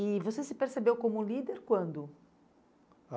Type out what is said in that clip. E você se percebeu como líder quando? Ah